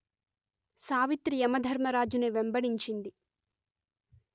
సావిత్రి యమధర్మరాజుని వెంబడించింది